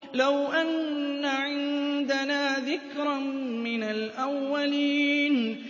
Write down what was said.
لَوْ أَنَّ عِندَنَا ذِكْرًا مِّنَ الْأَوَّلِينَ